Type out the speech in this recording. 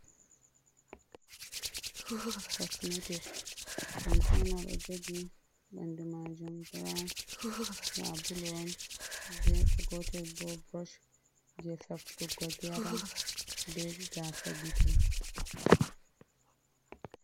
Cosumetic kanjm oɗojogi bandu majum buraun sabulu on gefegotel bo burosh je safutugo geram be gasa gite.